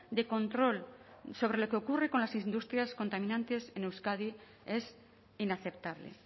de control sobre lo que ocurre con las industrias contaminantes en euskadi es inaceptable